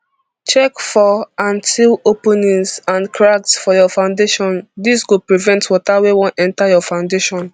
check for and seal openings and cracks for your foundation dis go prevent water wey wan enta your foundation